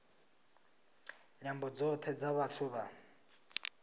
nyambo dzothe dza vhathu vha